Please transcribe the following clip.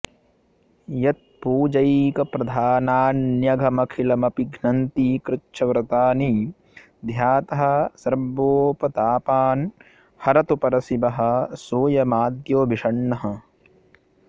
यत् पूजैकप्रधानान्यघमखिलमपि घ्नन्ति कृच्छ्रव्रतानि ध्यातः सर्वोपतापान् हरतु परशिवः सोऽयमाद्यो भिषङ्नः